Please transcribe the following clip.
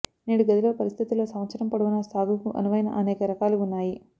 నేడు గదిలో పరిస్థితుల్లో సంవత్సరం పొడవునా సాగుకు అనువైన అనేక రకాలు ఉన్నాయి